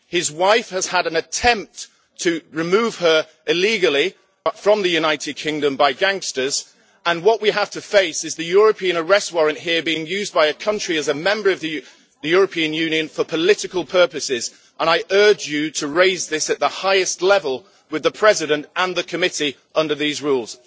His wife has had an attempt to remove her illegally from the United Kingdom by gangsters, and what we have to face is the European arrest warrant being used here by a country as a member of the European Union, for political purposes. I urge you to raise this at the highest level with the President and the committee under these rules.